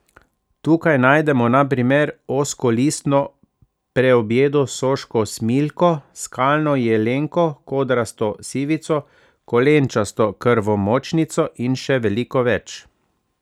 Tukaj najdemo na primer ozkolistno preobjedo, soško smiljko, skalno jelenko, kodrasto sivico, kolenčasto krvomočnico in še veliko več.